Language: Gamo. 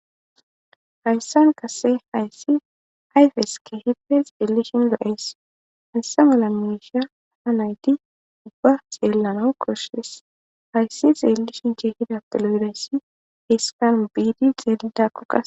Hayssan qasse hayssi ayfes keehippe xeelishin lo'ees. Hayssa mala misha ha nayti ubba xeellana koshshes. Hayssi xeellishinka keehippe lo'iza biddi xeelidakko.